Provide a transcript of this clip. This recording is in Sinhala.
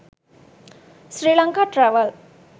sri lanka travel